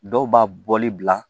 Dɔw b'a bɔli bila